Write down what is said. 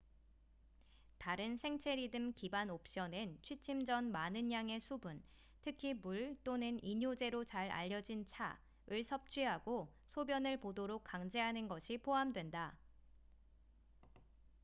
다른 생체리듬 기반 옵션엔 취침 전 많은 양의 수분특히 물 또는 이뇨제로 잘 알려진 차을 섭취하고 소변을 보도록 강제하는 것이 포함된다